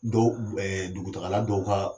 Dɔw ɛɛ dugutagala dɔw kan